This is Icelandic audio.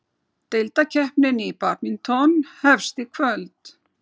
Deildakeppnin í badminton hefst í kvöld